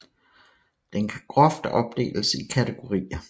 Den kan groft opdeles i kategorier